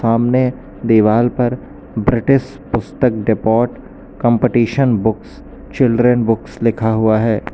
सामने दीवाल पर ब्रिटिश पुस्तक depot competition books children books लिखा हुआ है।